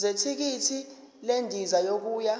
zethikithi lendiza yokuya